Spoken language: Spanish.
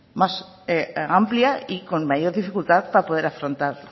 más amplia y con mayor dificultad para poder afrontar